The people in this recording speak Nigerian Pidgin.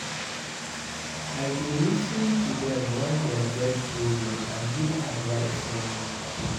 I dey lis ten to dem wen dem get problems and give advice when needed.